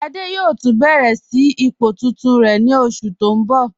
Ṣádé yóò tun bẹ̀rẹ̀ sí ipò tuntun rẹ ni oṣù tí n bọ.